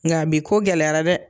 Nga bi ko gɛlɛyara dɛ